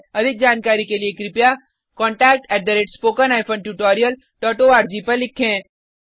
अधिक जानकारी के लिए contact spoken hyphen tutorial dot ORG पर लिखें